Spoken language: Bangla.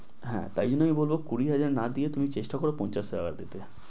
হ্যাঁ তাইলে বলো কুড়ি হাজার না দিয়ে তুমি চেষ্টা করো পঞ্চাশ হাজার টাকা দিতে